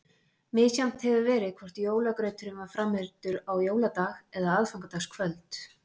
Misjafnt hefur verið hvort jólagrauturinn var framreiddur á jóladag eða aðfangadagskvöld.